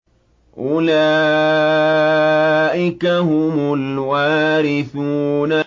أُولَٰئِكَ هُمُ الْوَارِثُونَ